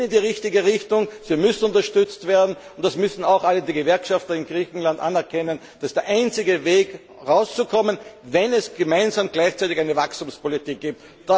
Sie gehen in die richtige Richtung, sie müssen unterstützt werden, und das müssen auch einige Gewerkschafter in Griechenland anerkennen, das ist der einzige Weg, da rauszukommen, wenn es gemeinsam gleichzeitig eine Wachstumspolitik gibt.